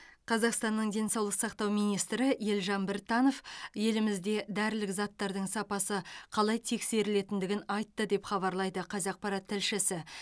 қазақстанның денсаулық сақтау министрі елжан біртанов елімізде дәрілік заттардың сапасы қалай тексерілетіндігін айтты деп хабарлайды қазақпарат тілшісі